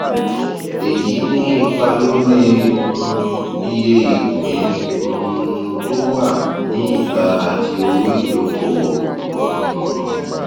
èyí ní ipa lórí um iye ìpín um tó wà ní ìta àti owó ìdókòwò um